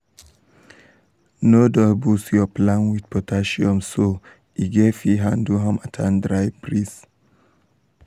no dull boost your plant with potassium so um e go fit handle harmattan dry breeze.